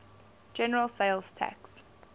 general sales tax